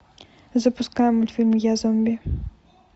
запускай мультфильм я зомби